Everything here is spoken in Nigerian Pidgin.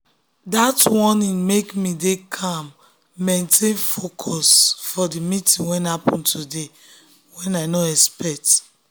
dat warning make me dey calm maintain focus for the meeting wey happen today wey i no expect.